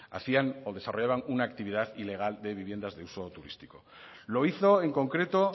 hacían o desarrollaban una actividad ilegal de viviendas de uso turístico lo hizo en concreto